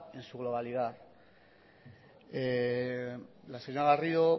en su globalidad la señora garrido